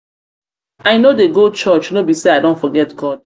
i know dey go church no be say i don forget god